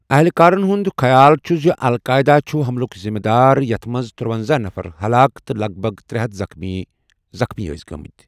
اہلِکارَن ہُنٛد خیال چھُ زِ القاعدہ چھُ حملُک ذِمہٕ دار یَتھ منٛز تُرونَزہَ نفر ہَلاک تہٕ لَگ بَگ ترے ہَتھ زخمی ٲسۍ گٔمٕتۍ۔